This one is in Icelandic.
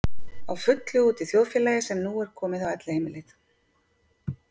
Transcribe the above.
Á fullu úti í þjóðfélagi sem nú er komið á Elliheimilið.